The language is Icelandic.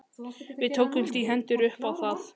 Við tókumst í hendur upp á það.